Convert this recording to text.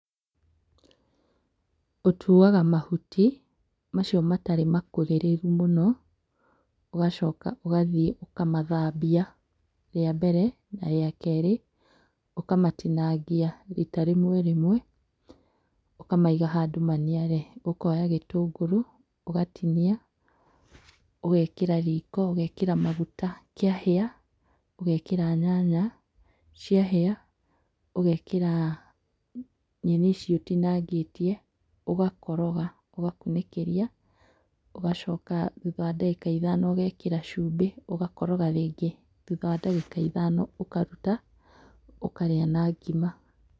Ũtuaga mahuti, macio matarĩ makũrĩrĩru mũno. Ũgacoka ũgathiĩ ũkamathambia rĩa mbere, na rĩa kerĩ. Ũkamatinagia riita rĩmwe rĩmwe, ũkamaiga handũ maniare. Ũkoya gĩtũngũrũ ũgatinia, ũgekĩra riko, ũgekĩra magũta. Kĩahĩa, ũgekĩra nyanya. Ciahĩa, ũgekĩra nyeni icio ũtinangĩtie, ũgakoroga, ũgakunĩkĩria. Ũgacoka thutha wa ndagĩka ithano, ũgekĩra cũmbĩ ũgakoroga rĩngĩ. Thutha wa ndagĩka ithano ũkaruta, ũkarĩa na ngima.